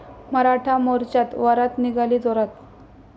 मराठा मोर्च्यात वरात निघाली जोरात